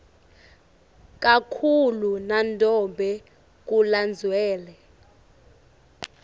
kakhulu nanobe kulandzelwe